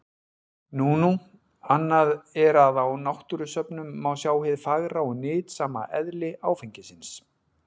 Nú nú, annað er að á náttúrusöfnum má sjá hið fagra og nytsama eðli áfengisins.